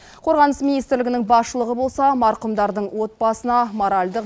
қорғаныс министрлігінің басшылығы болса марқұмдардың отбасына моральдық